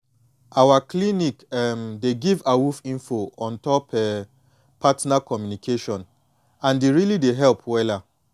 our clinic um dey give awoof info ontop um partner communication and e really dey help wella